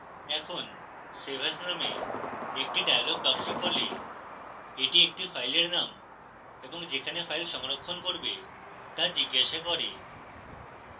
এখন save as named একটি dialog box খোলে এটি একটি ফাইলের named এবং যেখানে ফাইল সংরক্ষণ করবে তা জিজ্ঞাসা করে